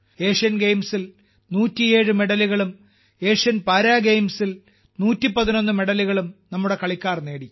Asian ഗെയിംസിൽ 107 മെഡലുകളും Asian para ഗെയിംസിൽ 111 മെഡലുകളും നമ്മുടെ കളിക്കാർ നേടി